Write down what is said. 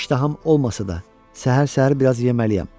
İştaham olmasa da, səhər-səhər biraz yeməliyəm.